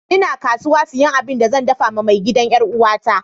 N'na kasuwa siyan abin da zan dafa ma mai gidan' yar uwa ta.